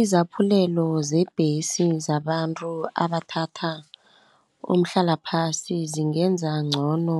Izaphulelo zembesi zabantu abathatha umhlalaphasi, zingenza ngcono